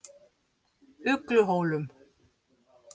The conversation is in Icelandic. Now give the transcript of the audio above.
Ugluhólum